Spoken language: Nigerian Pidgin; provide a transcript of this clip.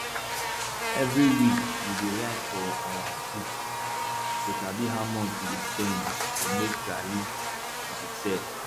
every week we dey write for our book to sabi how much we dey spend to make garri we dey sell